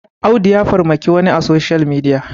Audu ya farmaki wani a soshiyal midiya